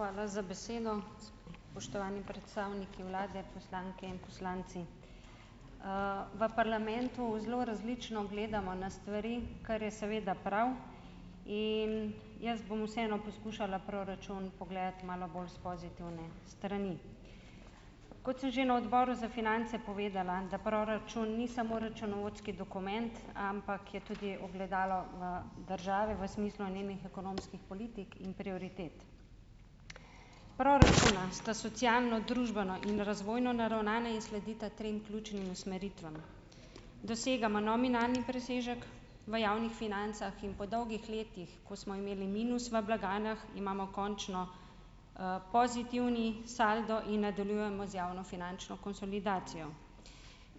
Hvala za besedo, spoštovani predstavniki vlade, poslanke in poslanci, v parlamentu zelo različno gledamo na stvari, kar je seveda prav, in jaz bom vseeno poskušala proračun pogledati malo bolj s pozitivne strani, kot sem že na odboru za finance povedala, da proračun ni samo računovodski dokument, ampak je tudi ogledalo, države v smislu nemih ekonomskih politik in prioritet, pror računa sta socialno družbena in razvojno naravnana in sledita trem ključnim usmeritvam, dosegamo nominalni presežek v javnih financah in po dolgih letih, ko smo imeli minus v blagajnah, imamo končno, pozitivni saldo in nadaljujemo z javnofinančno konsolidacijo,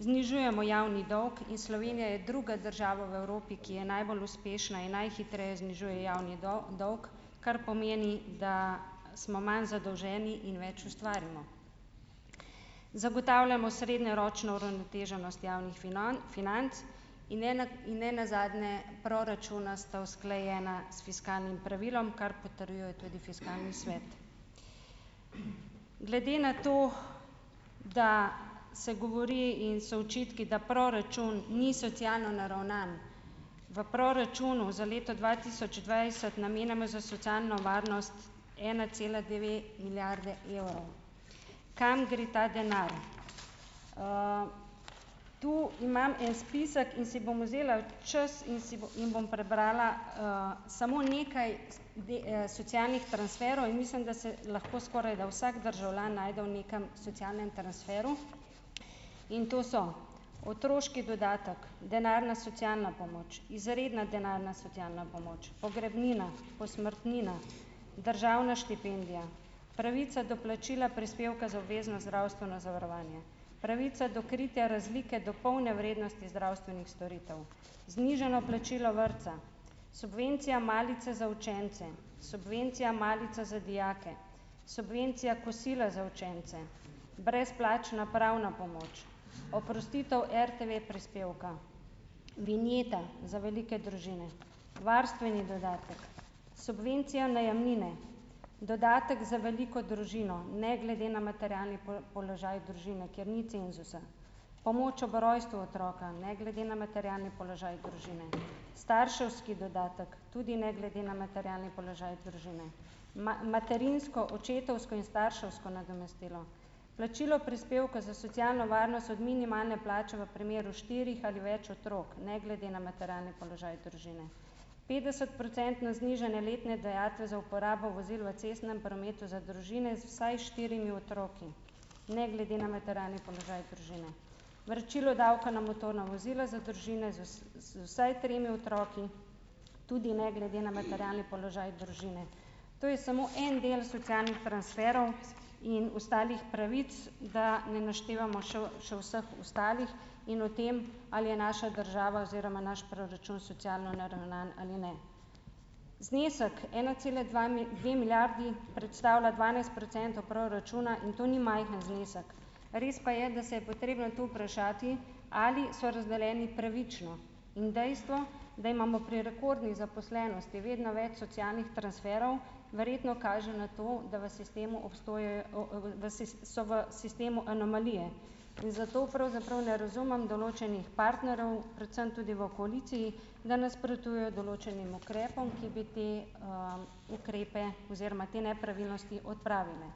znižujemo javni dolg in Slovenija je druga država v Evropi, ki je najbolj uspešna in najhitreje znižuje javni dolg, kar pomeni, da smo manj zadolženi in več ustvarimo, zagotavljamo srednjeročno uravnoteženost javnih financ in nenazadnje proračuna sta usklajena s fiskalnim pravilom, kar potrjuje tudi fiskalni svet, glede na to, da se govori in so očitki, da proračun ni socialno naravnan, v proračunu za leto dva tisoč dvajset namenjamo za socialno varnost ena cela dve milijardi evrov, kam gre ta denar, tu imam en spisek in si bom vzela čas in si in bom prebrala, samo nekaj socialnih transferov in mislim, da se lahko skorajda vsak državljan najde v nekem socialnem transferu, in to so: otroški dodatek, denarna socialna pomoč, izredna denarna socialna pomoč, pogrebnina, posmrtnina, državna štipendija, pravica do plačila prispevka za obvezno zdravstveno zavarovanje, pravica do kritja razlike do polne vrednosti zdravstvenih storitev, znižano plačilo vrtca, subvencija malice za učence, subvencija malica za dijake, subvencija kosila za učence, brezplačna pravna pomoč, oprostitev RTV-prispevka, vinjeta za velike družine, varstveni dodatek, subvencija najemnine, dodatek za veliko družino ne glede na materialni položaj družine, kjer ni cenzusa, pomoč ob rojstvu otroka ne glede na materialni položaj družine, starševski dodatek, tudi ne glede na materialni položaj družine, materinsko očetovsko in starševsko nadomestilo, plačilo prispevka za socialno varnost od minimalne plače v primeru štirih ali več otrok ne glede na materialni položaj družine, petdesetprocentno znižanje letne dajatve za uporabo vozil v cestnem prometu za družine z vsaj štirimi otroki ne glede na materialni položaj družine, vračilo davka na motorna vozila za družine z vsaj tremi otroki, tudi ne glede na materialni položaj družine, to je samo en del socialnih transferov in ostalih pravic, da ne naštevamo še, še vseh ostalih, in o tem, ali je naša država oziroma naš proračun socialno naravnan ali ne, znesek ena cela dva dve milijardi predstavlja dvanajst procentov proračuna in to ni majhen znesek, res pa je, da se je potrebno tu vprašati, ali so razdeljeni pravično, in dejstvo, da imamo pri rekordni zaposlenosti vedno več socialnih transferov, verjetno kaže na to, da v sistemu obstajajo o, da so v sistemu anomalije in zato pravzaprav ne razumem določenih partnerjev, predvsem tudi v koaliciji, da nasprotujejo določenim ukrepom, ki bi te, ukrepe oziroma te nepravilnosti odpravile,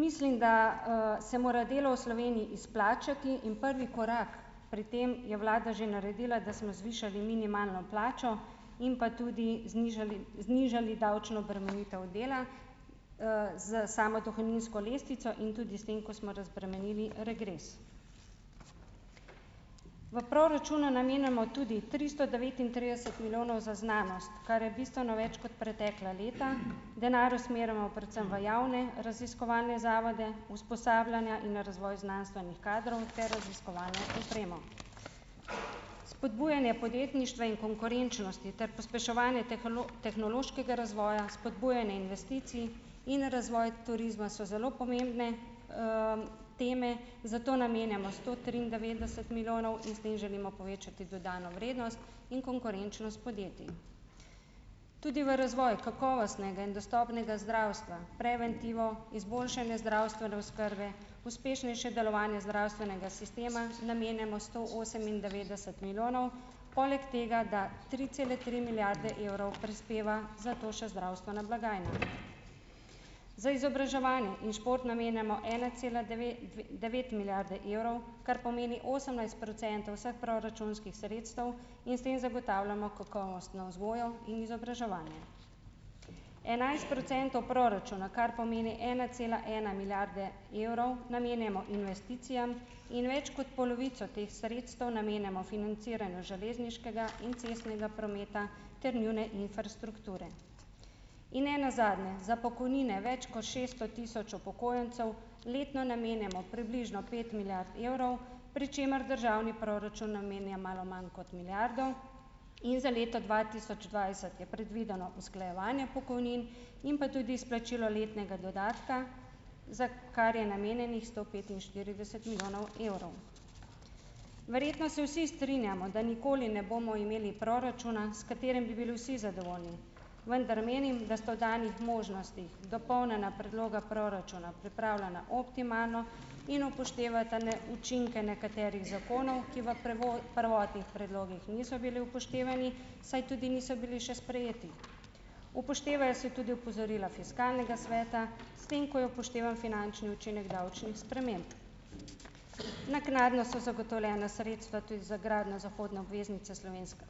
mislim, da, se mora delo v Sloveniji izplačati in prvi korak pri tem je vlada že naredila, da smo zvišali minimalno plačo in pa tudi znižali znižali davčno obremenitev dela, s samo dohodninsko lestvico in tudi s tem, ko smo razbremenili regres, v proračunu je namenoma tudi tristo devetintrideset milijonov za znanost, kar je bistveno več kot pretekla leta, denar usmerimo predvsem v javne raziskovalne zavode, usposabljanja in razvoj znanstvenih kadrov ter raziskovalno opremo, spodbujanje podjetništva in konkurenčnosti ter pospeševanje tehnološkega razvoja spodbujanje investicij in razvoj turizma so zelo pomembne, teme za to namenjamo sto triindevetdeset milijonov in s tem želimo povečati dodano vrednost in konkurenčnost podjetij, tudi v razvoj kakovostnega in dostopnega zdravstva, preventivo, izboljšanje zdravstvene oskrbe, uspešnejše delovanje zdravstvenega sistema namenjamo sto osemindevetdeset milijonov, poleg tega, da tri cele tri milijarde evrov prispeva za to še zdravstvena blagajna, za izobraževanje in šport namenjamo ena cela dve devet milijarde evrov, kar pomeni osemnajst procentov proračunskih sredstev, in s tem zagotavljamo kakovostno vzgojo in izobraževanje, enajst procentov proračuna, kar pomeni ena cela ena milijarde evrov, namenjamo investicijam in več kot polovico teh sredstev namenjamo financiranju železniškega in cestnega prometa ter njune infrastrukture in nenazadnje za pokojnine več ko šeststo tisoč upokojencev letno namenjamo približno pet milijard evrov, pri čemer državni proračun namenja malo manj kot milijardo, in za leto dva tisoč dvajset je predvideno usklajevanje pokojnin in pa tudi izplačila letnega dodatka, za kar je namenjenih sto petinštirideset milijonov evrov, verjetno se vsi strinjamo, da nikoli ne bomo imeli proračuna, s katerim bi bili vsi zadovoljni, vendar menim, da sta v danih možnostih dopolnjena predloga proračuna pripravljena optimalno in upoštevata, ne, učinke nekaterih zakonov, ki v prvotnih predlogih niso bili upoštevani, saj tudi niso bili še sprejeti, upoštevajo se tudi opozorila fiskalnega sveta, s tem ko je upoštevan finančni učinek davčnih sprememb, naknadno so zagotovljena sredstva tudi za gradnjo zahodne obveznice, slovenska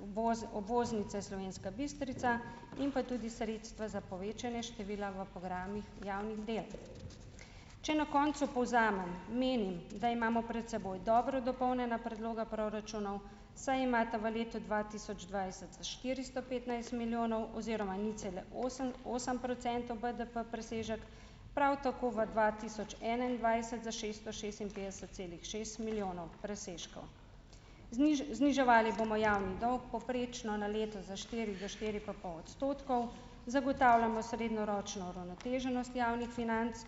obvoznice Slovenska Bistrica, in pa tudi sredstva za povečanje števila v programih javnih del, če na koncu povzamem, menim, da imamo pred seboj dobro dopolnjena predloga proračunov, saj imata v letu dva tisoč dvajset za štiristo petnajst milijonov oziroma nič cele osem osem procentov BDB presežek, prav tako v dva tisoč enaindvajset za šesto šestinpetdeset celih šest milijonov presežkov, zniževali bomo javni dolg, povprečno na leto za štiri pa štiri pa pol odstotkov, zagotavljamo srednjeročno uravnoteženost javnih financ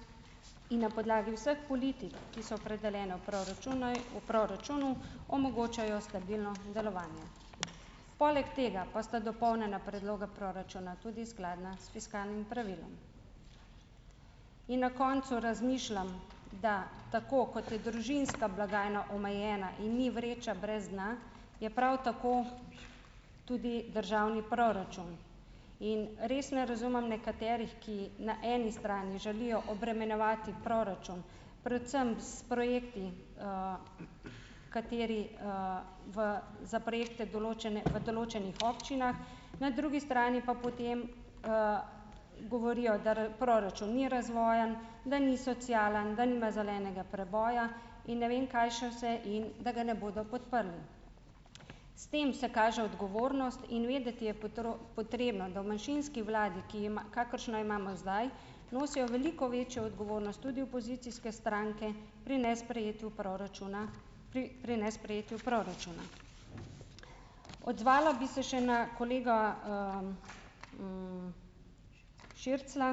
in na podlagi vseh politik, ki so opredeljene v proračunu, v proračunu, omogočajo stabilno delovanje, poleg tega pa sta dopolnjena predloga proračuna tudi skladna s fiskalnim pravilom, in na koncu razmišljam, da tako, kot je družinska blagajna omejena in ni vreča brez dna, je prav tako tudi državni proračun in res ne razumem nekaterih, ki na eni strani želijo obremenjevati proračun predvsem s projekti, kateri, v za projekte, določene v določenih občinah, na drugi strani pa potem, govorijo da proračun ni razvojni, da ni socialen, da nima zelenega preboja in ne vem kaj še vse in da ga ne bodo podprli, s tem se kaže odgovornost in vedeti je potrebno, da v manjšinski vladi, ki ima, kakršno imamo zdaj, nosijo veliko večjo odgovornost tudi opozicijske stranke pri nesprejetju proračuna, pri pri nesprejetju proračuna, odzvala bi se še na kolega, Širclja,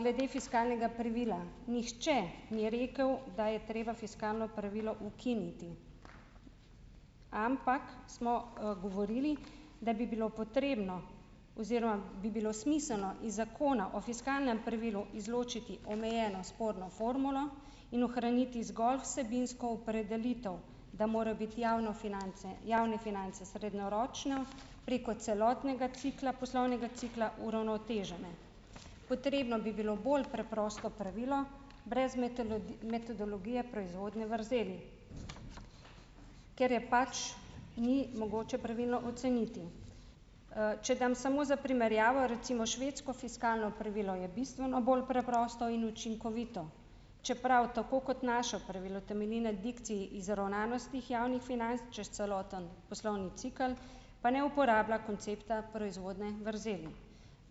glede fiskalnega privila nihče ni rekel, da je treba fiskalno pravilo ukiniti, ampak smo, govorili, da bi bilo potrebno oziroma bi bilo smiselno iz zakona o fiskalnem pravilu izločiti omejeno sporno formulo in ohraniti zgolj vsebinsko opredelitev, da morajo biti javne finance, javne finance srednjeročno preko celotnega cikla poslovnega cikla uravnotežene, potrebno bi bilo bolj preprosto pravilo brez metodologije proizvodnje vrzeli, ker je pač ni mogoče pravilno oceniti, če dam samo za primerjavo recimo švedsko fiskalno pravilo, je bistveno bolj preprosto in učinkovito, čeprav tako kot naše pravilo temelji na dikciji izravnanosti javnih financ čez celoten poslovni cikel, pa ne uporablja koncepta proizvodnje vrzeli,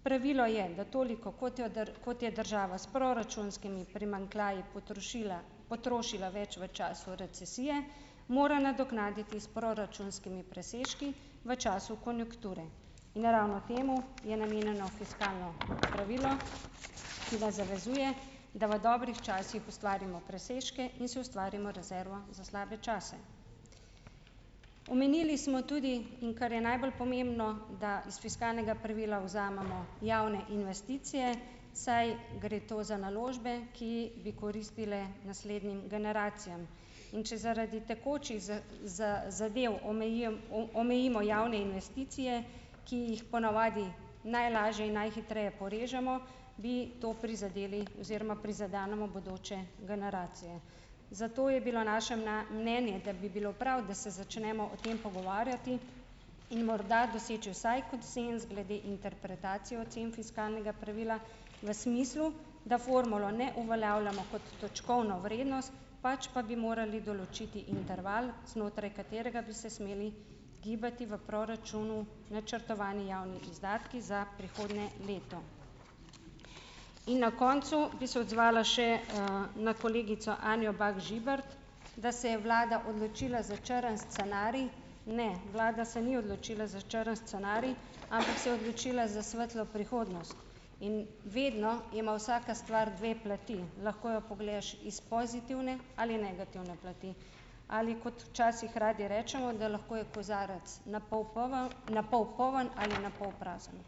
pravilo je, da toliko, kot jo kot je država s proračunskimi primanjkljaji potrošila, potrošila več v času recesije, mora nadoknaditi s proračunskimi presežki v času konjunkture in ravno temu je namenjeno fiskalno pravilo, ki vas zavezuje, da v dobrih časih ustvarimo presežke in si ustvarimo rezervo za slabe čase, omenili smo tudi, in kar je najbolj pomembno, da iz fiskalnega pravila vzamemo javne investicije, saj gre to za naložbe, ki bi koristile naslednjim generacijam, in če zaradi tekočih zadev omejijem omejimo javne investicije, ki jih ponavadi najlažje in najhitreje porežemo, bi to prizadeli oziroma prizadenemo bodoče generacije, zato je bilo naše mnenje, da bi bilo prav, da se začnemo o tem pogovarjati, in morda doseči vsaj konsenz glede interpretacije ocen fiskalnega pravila v smislu, da formulo ne uveljavljamo kot točkovno vrednost, pač pa bi morali določiti interval, znotraj katerega bi se smeli gibati v proračunu načrtovani javni izdatki za prihodnje leto, in na koncu bi se odzvala še, na kolegico Anjo Bah Žibert, da se je vlada odločila za črni scenarij, ne, vlada se ni odločila za črni scenarij, ampak se je odločila za svetlo prihodnost, in vedno ima vsaka stvar dve plati, lahko jo pogledaš iz pozitivne ali negativne plati, ali kot včasih radi rečemo, da lahko je kozarec na pol poln, na pol poln ali na pol prazen.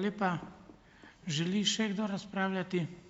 Hvala.